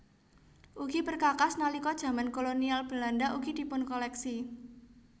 Ugi perkakas nalika jaman Kolonial Belanda ugi dipunkoléksi